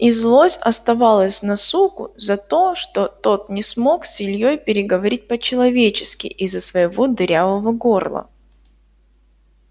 и злость оставалась на суку за то что тот не смог с ильёй переговорить по-человечески из-за своего дырявого горла